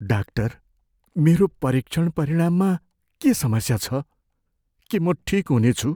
Doctor, मेरो परीक्षण परिणाममा के समस्या छ? के म ठिक हुनेछु?